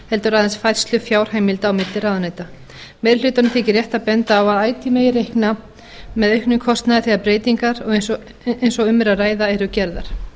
heldur aðeins færslu fjárheimilda á milli ráðuneyta meiri hlutanum þykir rétt að benda á að ætíð megi reikna með auknum kostnaði þegar breytingar eins og um er að ræða eru gerðar